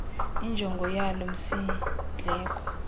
injongo yalo msindleko